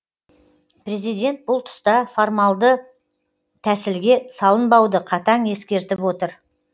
президент бұл тұста формалды тәсілге салынбауды қатаң ескертіп отыр